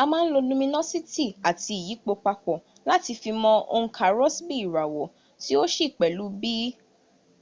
a máà n lo luminositi ati iyipo papọ̀ láti fi mọ onka rosbi irawo